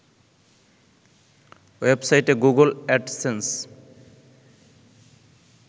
ওয়েবসাইটে Google AdSense